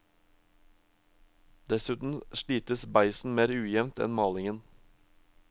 Dessuten slites beisen mer ujevnt enn malingen.